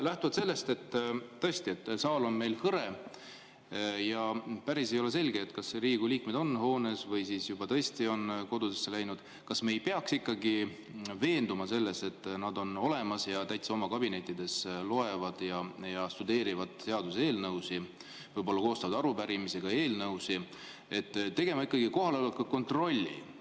" Lähtuvalt sellest, et tõesti saal on meil hõre ja ei ole päris selge, kas Riigikogu liikmed on hoones või juba on kodudesse läinud, kas me ei peaks ikkagi veenduma selles, et nad on olemas ja täitsa oma kabinettides loevad ja tudeerivad seaduseelnõusid, võib-olla koostavad arupärimisi või eelnõusid, tegema ikkagi kohaloleku kontrolli?